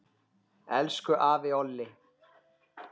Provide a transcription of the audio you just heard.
Elsku afi Olli.